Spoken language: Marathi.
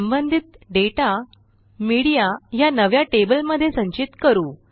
संबंधित डेटा मीडिया ह्या नव्या टेबलमध्ये संचित करू